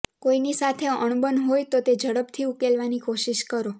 કોઈની સાથે અણબન હોય તો તે ઝડપથી ઉકેલવાની કોશિશ કરો